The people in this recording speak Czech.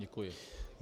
Děkuji.